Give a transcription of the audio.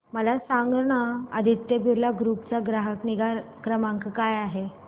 मला सांगाना आदित्य बिर्ला ग्रुप चा ग्राहक निगा क्रमांक काय आहे